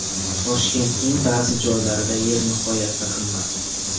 Toshkentning ba’zi joylarida yer nihoyatda qimmat.